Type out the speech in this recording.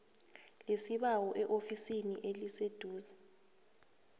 lesibawo eofisini eliseduze